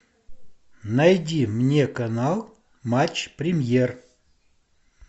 найди мне канал матч премьер